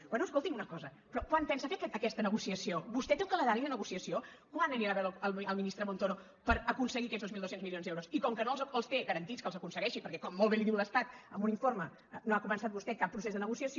bé escolti’m una cosa però quan pensa fer aquesta negociació vostè té un calendari de negociació quan anirà a veure el ministre montoro per aconseguir aquests dos mil dos cents milions d’euros i com que no té garantit que els aconsegueixi perquè com molt bé li diu l’estat amb un informe no ha començat vostè cap procés de negociació